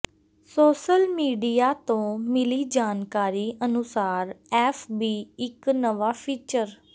social media ਤੋਂ ਮਿਲੀ ਜਾਣਕਾਰੀ ਅਨੁਸਾਰ ਐਫ ਬੀ ਇੱਕ ਨਵਾਂ ਫੀਚਰ